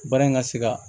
Baara in ka se ka